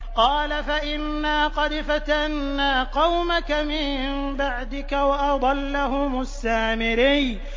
قَالَ فَإِنَّا قَدْ فَتَنَّا قَوْمَكَ مِن بَعْدِكَ وَأَضَلَّهُمُ السَّامِرِيُّ